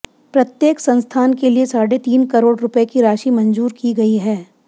प्रत्येक संस्थान के लिए साढ़े तीन करोड़ रुपए की राशि मंजूर की गई है